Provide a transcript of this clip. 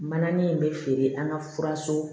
Mananin in bɛ feere an ka furaso